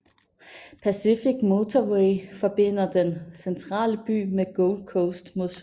Pacific Motorway forbinder den centrale by med Gold Coast mod syd